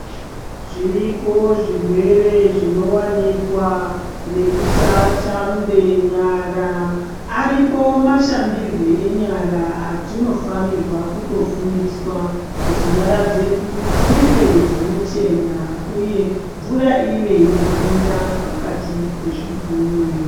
Zviriko zvirwere zvinowanikwa nekusashambe nyara. Ariko mashambirwe enyara atinofanira kutofundiswa kuti nyara dzedu dzive dzinochena uye mvura ive inohanira pakatipe zvigunwe.